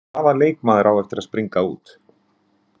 Hvaða leikmaður á eftir að springa út?